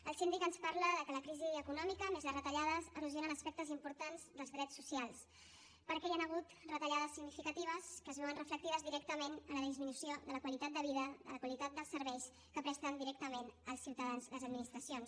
el síndic ens parla que la crisi econòmica més les retallades erosionen aspectes importants dels drets socials perquè hi han hagut retallades significatives que es veuen reflectides directament en la disminució de la qualitat de vida la qualitat dels serveis que presten directament als ciutadans les administracions